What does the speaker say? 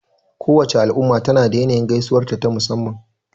Kowace al'umma tana da yanayin gaisuwarta ta musamman.